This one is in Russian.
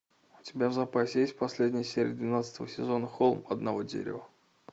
у тебя в запасе есть последняя серия двенадцатого сезона холм одного дерева